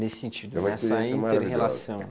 Nesse sentido, nessa inter-relação.